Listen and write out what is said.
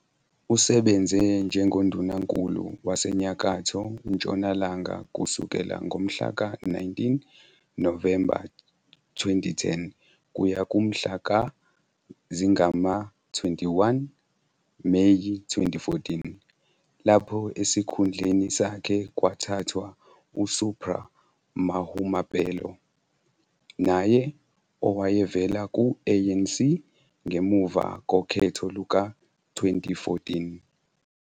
Usebenze njengoNdunankulu waseNyakatho Ntshonalanga kusukela ngomhlaka 19 Novemba 2010 kuya kumhla zingama-21 Meyi 2014, lapho esikhundleni sakhe kwathathwa uSupra Mahumapelo, naye owayevela ku-ANC, ngemuva kokhetho luka-2014.